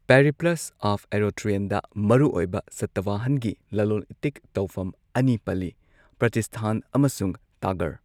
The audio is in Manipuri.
ꯄꯦꯔꯤꯄ꯭ꯂꯁ ꯑꯣꯐ ꯑꯦꯔꯣꯊ꯭ꯔꯤꯌꯟꯗ ꯃꯔꯨꯑꯣꯏꯕ ꯁꯇꯋꯥꯍꯟꯒꯤ ꯂꯂꯣꯟ ꯏꯇꯤꯛ ꯇꯧꯐꯝ ꯑꯅꯤ ꯄꯜꯂꯤ ꯄ꯭ꯔꯇꯤꯁꯊꯥꯟ ꯑꯃꯁꯨꯡ ꯇꯥꯒꯔ꯫